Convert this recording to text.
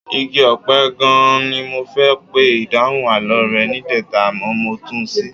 Igi ọ̀pẹ gan-an ni mo fẹ́ pe ìdáhùn àlọ́ rẹ níjẹta àmọ́ mo tún ṣì í.